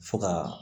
Fo ka